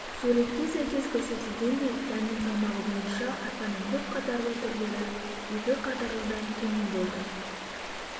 суретке сәйкес көрсетілгендей дәннің салмағы бойынша арпаның көп қатарлы түрлері екі қатарлыдан төмен болды